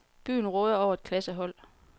Byen råder over et klassehold.